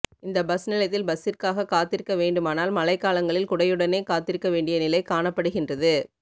இந்த பஸ் நிலையத்தில் பஸ்சிற்காக காத்திருக்க வேண்டுமானால் மழைக்காலங்களில் குடையுடனே காத்திருக்க வேண்டிய நிலை காணப்படுகின்றது